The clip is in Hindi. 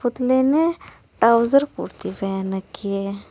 पुतले ने टाउजर कुर्ती पहन रखी है।